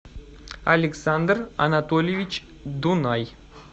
александр анатольевич дунай